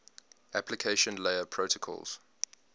application layer protocols